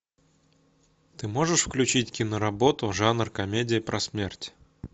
ты можешь включить киноработу жанр комедия про смерть